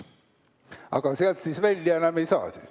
Aga sealt siis välja enam ei saa?